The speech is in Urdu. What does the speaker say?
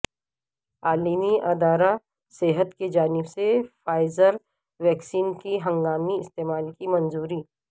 عالمی ادارہ صحت کی جانب سے فائزر ویکسین کے ہنگامی استعمال کی منظوری